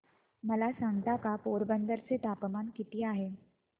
मला सांगता का पोरबंदर चे तापमान किती आहे